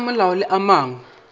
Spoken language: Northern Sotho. a semolao le a mangwe